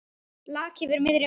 Laki fyrir miðri mynd.